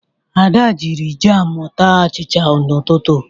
Ada jiri jamụ taa achịcha n'ụtụtụ.